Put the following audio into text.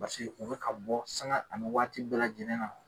paseke o be ka bɔ sanga ani waati bɛɛ lajɛlen na